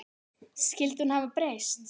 Skyldi hún hafa breyst?